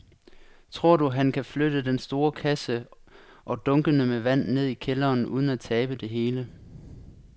Tror du, at han kan flytte den store kasse og dunkene med vand ned i kælderen uden at tabe det hele?